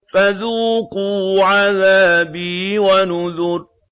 فَذُوقُوا عَذَابِي وَنُذُرِ